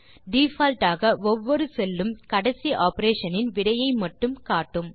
default ஆக ஒவ்வொரு cell உம் கடைசி ஆப்பரேஷன் இன் விடையை மட்டுமே காட்டும்